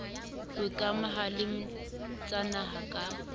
ho ikamahangwa le tsanaha ka